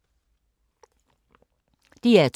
DR2